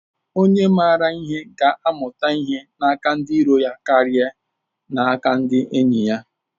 Onye mara ihe ga-amụta ihe n’aka ndị iro ya karịa n’aka ndị enyi ya